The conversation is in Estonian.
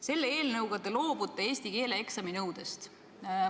Selle eelnõu kohaselt te loobute eesti keele eksami nõudest.